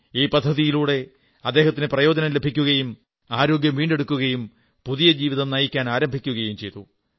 ഈ പദ്ധതിയിലൂടെ അദ്ദേഹത്തിന് പ്രയോജനം ലഭിക്കുകയും ആരോഗ്യം വീണ്ടെടുക്കുകയും പുതിയ ജീവിതം നയിക്കാനാരംഭിക്കുകയും ചെയ്തു